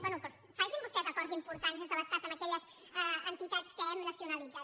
bé doncs facin vostès acords importants des de l’estat amb aquelles entitats que hem nacionalitzat